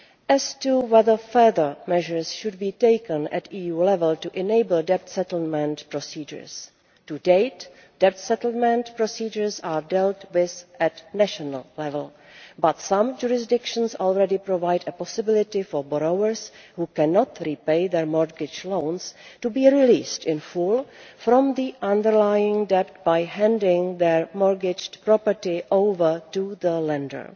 As to whether further measures should be taken at EU level to enable debt settlement procedures to date debt settlement procedures are dealt with at national level but some jurisdictions already provide a possibility for borrowers who cannot repay their mortgage loans to be released in full from the underlying debt by handing their mortgaged property over to the lender.